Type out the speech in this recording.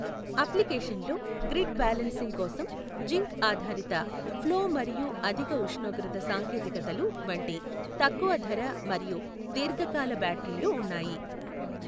అప్లికేషన్లలో grid balancing కోసం zinc ఆధారిత, ఫ్లో మరియు అధిక ఉష్ణోగ్రత సాంకేతికతలు వంటి తక్కువ ధర మరియు దీర్ఘ కాల బ్యాటరీలు ఉన్నాయి.